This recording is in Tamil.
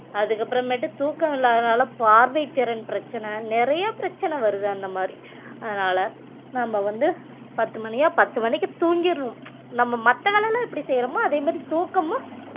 அதுக்கு அப்புறமேட்டு தூக்கம் இல்லாதனால பார்வைத்திறன் பிரச்சனை நிறைய பிரச்சனை வருது அந்த மாதிரி அதனால நம்ம வந்து பத்து மணியா பத்து மணிக்கு தூங்கிறனும் நம்ம மத்த வேலையெல்லாம் எப்படி செய்றோமோ அதே மாதிரி தூக்கமும்